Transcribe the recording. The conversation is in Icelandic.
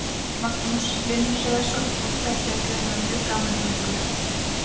Magnús Hlynur Hreiðarsson: Og þetta er greinilega mjög gaman hjá ykkur?